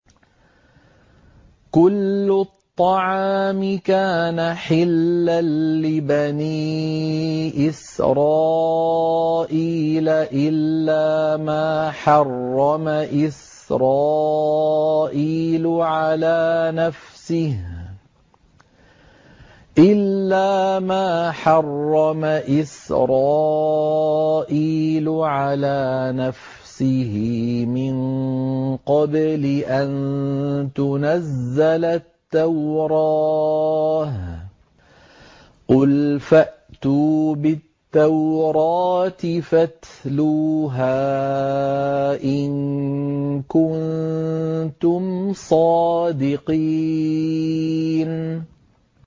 ۞ كُلُّ الطَّعَامِ كَانَ حِلًّا لِّبَنِي إِسْرَائِيلَ إِلَّا مَا حَرَّمَ إِسْرَائِيلُ عَلَىٰ نَفْسِهِ مِن قَبْلِ أَن تُنَزَّلَ التَّوْرَاةُ ۗ قُلْ فَأْتُوا بِالتَّوْرَاةِ فَاتْلُوهَا إِن كُنتُمْ صَادِقِينَ